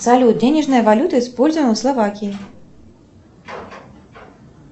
салют денежная валюта используемая в словакии